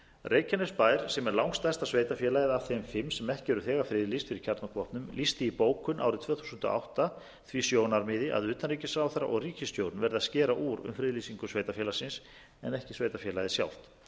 reykjanesbær sem er langstærsta sveitarfélagið af þeim fimm sem ekki eru þegar friðlýst fyrir kjarnorkuvopnum lýsti í bókun árið tvö þúsund og átta því sjónarmiði að utanríkisráðherra og ríkisstjórn verði að skera úr um friðlýsingu sveitarfélagsins en ekki sveitarfélagið sjálft